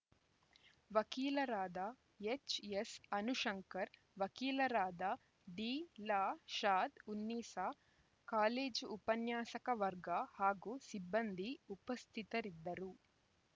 ವಕೀಲರಾದ ಎಚ್‌ಎಸ್‌ ಅನುಶಂಕರ್‌ ವಕೀಲರಾದ Dilshad Unnisa college ಉಪನ್ಯಾಸಕ ವರ್ಗ ಹಾಗೂ ಸಿಬ್ಬಂದಿ ಉಪಸ್ಥಿತರಿದ್ದರು